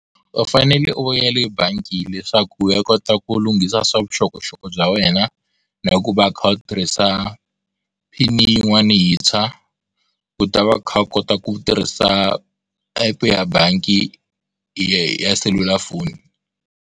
U fanele u ya le bangi leswaku u ya kota ku lunghisa swa vuxokoxoko bya wena na ku va u kha u tirhisa pin-i yin'wana yintshwa u ta va u kha u kota ku tirhisa epu ya bangi ya selulafoni.